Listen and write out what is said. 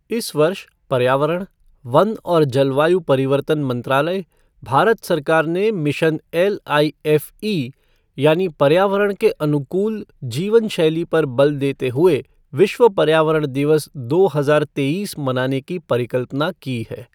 इस वर्ष, पर्यावरण, वन और जलवायु परिवर्तन मंत्रालय, भारत सरकार ने मिशन एलआईएफ़ई यानी पर्यावरण के अनुकूल जीवन शैली पर बल देते हुए विश्व पर्यावरण दिवस दो हजार तेईस मनाने की परिकल्पना की है।